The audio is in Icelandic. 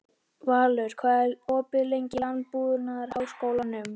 Valur, hvað er opið lengi í Landbúnaðarháskólanum?